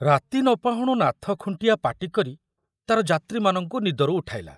ରାତି ନ ପାହୁଣୁ ନାଥ ଖୁଣ୍ଟିଆ ପାଟି କରି ତାର ଯାତ୍ରୀମାନଙ୍କୁ ନିଦରୁ ଉଠାଇଲା।